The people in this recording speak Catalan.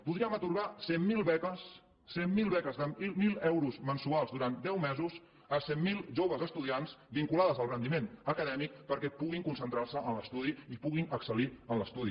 podríem atorgar cent mil beques cent mil beques de mil euros mensuals durant deu mesos a cent mil joves estudiants vinculades al rendiment acadèmic perquè puguin concentrar se en l’estudi i puguin excel·lir en l’estudi